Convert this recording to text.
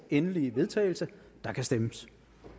endelige vedtagelse der kan stemmes